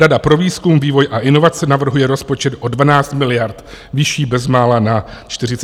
Rada pro výzkum, vývoj a inovace navrhuje rozpočet o 12 miliard vyšší, bezmála na 48 miliardách."